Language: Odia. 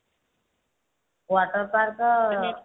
water park